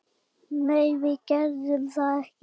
Nei, við gerðum það ekki.